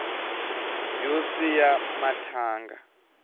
yo siya mathanga